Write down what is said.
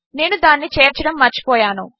నేనుదానినిచేర్చడముమర్చిపోయాను